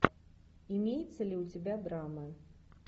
имеется ли у тебя драмы